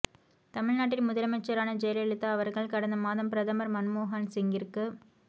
தமிழ்நாட்டின் முதலமைச்சரான ஜெயலலிதா அவர்கள் கடந்த மாதம் பிரதமர் மன்மோஹன் சிங்கிற்கு